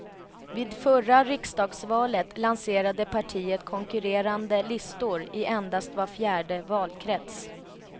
Vid förra riksdagsvalet lanserade partiet konkurrerande listor i endast var fjärde valkrets.